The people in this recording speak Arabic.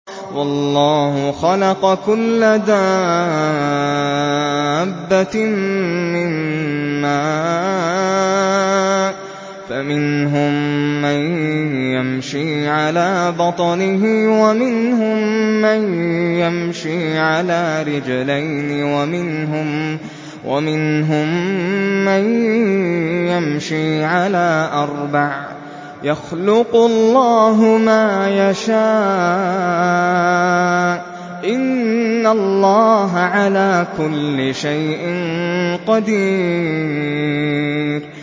وَاللَّهُ خَلَقَ كُلَّ دَابَّةٍ مِّن مَّاءٍ ۖ فَمِنْهُم مَّن يَمْشِي عَلَىٰ بَطْنِهِ وَمِنْهُم مَّن يَمْشِي عَلَىٰ رِجْلَيْنِ وَمِنْهُم مَّن يَمْشِي عَلَىٰ أَرْبَعٍ ۚ يَخْلُقُ اللَّهُ مَا يَشَاءُ ۚ إِنَّ اللَّهَ عَلَىٰ كُلِّ شَيْءٍ قَدِيرٌ